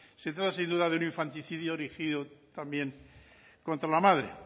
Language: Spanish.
se trata sin duda de un infanticidio dirigido también contra la madre